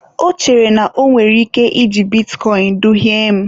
Ọ chere na o nwere ike iji bitcoin duhie m.